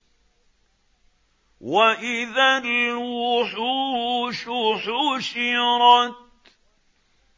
وَإِذَا الْوُحُوشُ حُشِرَتْ